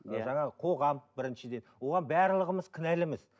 иә жаңағы қоғам біріншіден оған барлығымыз кінәліміз